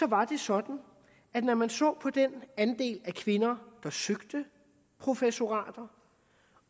var det sådan at når man så på den andel af kvinder der søgte professorater